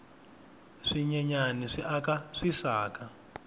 swinyenyani swi aka swisaka